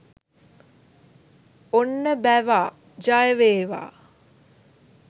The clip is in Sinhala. ඔන්න බැවා ජය වේවා! !